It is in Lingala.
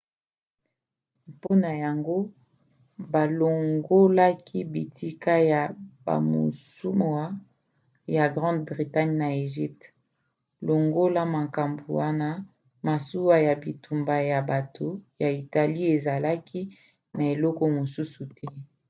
mpona yango balongolaki bitika ya bamasuwa ya grande bretagne na egypte. longola makambo wana masuwa ya bitumba ya bato ya italie ezalaki na eloko mosusu te